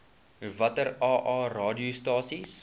watter aa radiostasies